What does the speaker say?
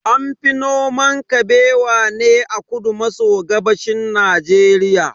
An fi noman Kabewa ne a kudu maso gabashin Najeriya.